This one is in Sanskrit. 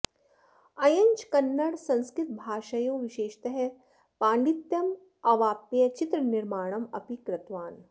अयञ्च कन्नड संस्कृतभाषयोः विशेषतः पाण्डित्यमवाप्य चित्रनिर्माणम् अपि कृतवान्